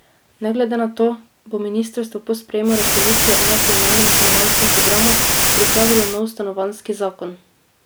Ne glede na to bo ministrstvo, po sprejemu Resolucije o nacionalnem stanovanjskem programu pripravilo nov stanovanjski zakon.